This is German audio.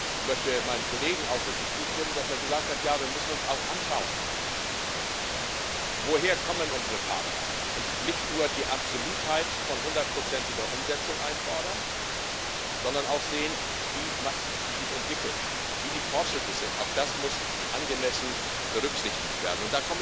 Ich möchte meinem Kollegen ausdrücklich zustimmen, der gesagt hat Ja, wir müssen uns auch anschauen, woher unsere Partner kommen, und nicht nur die Absolutheit von hundertprozentiger Umsetzung einfordern, sondern auch sehen, wie man sich entwickelt, wie die Fortschritte sind, auch das muss angemessen berücksichtigt werden.